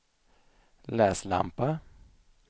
läslampa